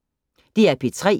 DR P3